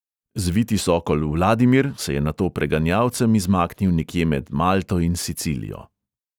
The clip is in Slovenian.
Zviti sokol vladimir se je nato preganjalcem izmaknil nekje med malto in sicilijo.